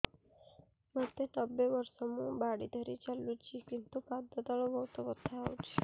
ମୋତେ ନବେ ବର୍ଷ ମୁ ବାଡ଼ି ଧରି ଚାଲୁଚି କିନ୍ତୁ ପାଦ ତଳ ବହୁତ ବଥା ହଉଛି